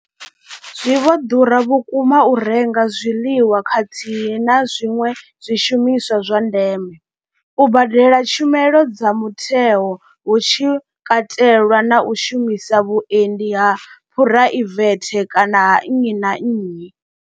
Zwi vho ḓura vhukuma u renga zwiḽiwa khathihi na zwiṅwe zwishumiswa zwa ndeme, u badela tshumelo dza mutheo hu tshi katelwa na u shumisa vhuendi ha phuraivethe kana ha nnyi na nnyi.